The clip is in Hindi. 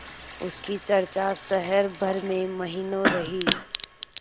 उसकी चर्चा शहर भर में महीनों रही